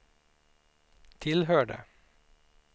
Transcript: tillhörde